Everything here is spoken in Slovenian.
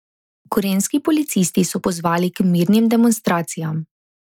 Gorenjski policisti so pozvali k mirnim demonstracijam.